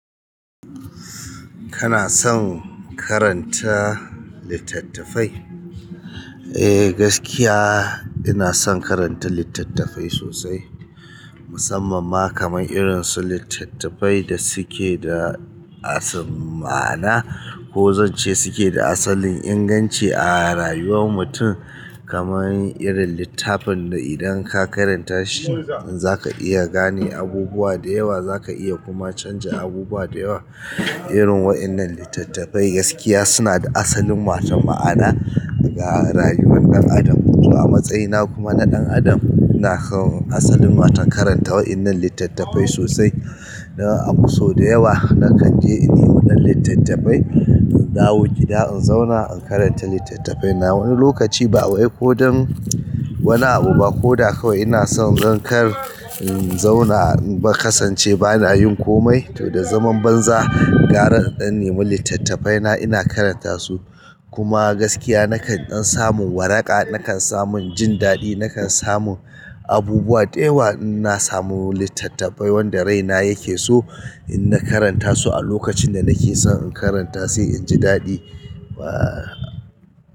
Kana son karanta littattafai? Eh gaskiya ina son karanta littafai sosai musamman ma kaman irinsu litattafai dasuke da ma'ana. Ko zance suke da asalin inganci a rayuwar mutum kamar irin littafin da idan ka karanta shi za ka iya gane abubuwa da yawa, za ka iya kuma canza abubuwa da yawa. Irin waɗannan littattafai gaskiya suna da asalin waton ma'ana ga rayuwar ɗan adam. To a matsayina kuma na ɗan adam ina so asalin waton karanta waɗannan littattafai sosai. Na so da yawa na kan je in nemi ɗan littattafai, in dawo gida in zauna in karanta littattafai na wani lokaci ba wai ko don wani abu ba ko da kawai ina so zan kar in zauna ba kasance ba na yin komai. To da zaman banza gara in ɗan nemi littattafai na ina karanta su. Kuma gaskiya na kan ɗan samu waraka, na kan samu jin daɗi, na kan samu abubuwa da yawa in na samu littattafai wanda raina yake so in na karanta su a lokacin da nake son in karanta sai in ji daɗi. Wa.